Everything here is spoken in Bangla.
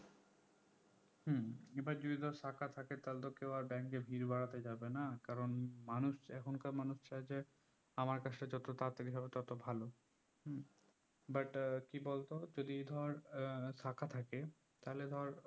এবার যদি শাখা থাকে তাহলে তো কেও আর bank এ ভিড় বাড়াতে যাবে না কারণ মানুষ এখনকার মানুষ চাই যে আমার কাজটা যত তাড়াতাড়ি হবে তত ভালো but কি বলতো যদি ধর আহ শাখা থাকে তাহলে ধর